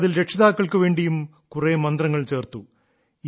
ഇപ്പോൾ അതിൽ രക്ഷിതാക്കൾക്കു വേണ്ടിയും കുറെ മന്ത്രങ്ങൾ ചേർത്തു